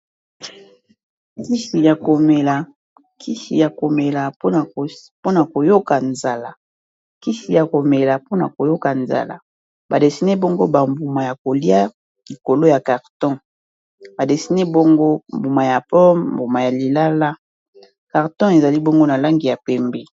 Kisi ya komela mpona koyoka nzala ba dessiné bongo ba mbuma ya kolia likolo ya carton ba dessiné bongo mbuma ya pomme, mbuma ya lilala, carton ezali bongo na langi ya pembe.